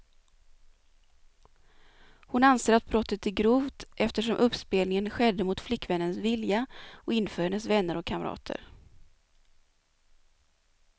Hon anser att brottet är grovt, eftersom uppspelningen skedde mot flickvännens vilja och inför hennes vänner och kamrater.